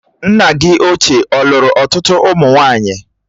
Nna gị ochie ọ̀lùru ọtụtụ ụmụ nwaanyị?